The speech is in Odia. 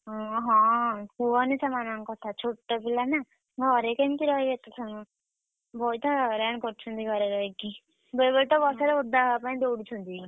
ହୁଁ ହଁ କୁହନି ସେମାନଙ୍କ କଥା ଛୋଟ ପିଲାନା, ଘରେ କେମିତି ରହିବେ ଏତେ ସମୟ। ବହୁତହଇରାଣ କରୁଛନ୍ତି ଘରେ ରହିକି, ବେଳେ ବେଳେ ତ ବର୍ଷାରେ ଓଦା ହବା ପାଇଁ ଦୌଡୁଛନ୍ତି।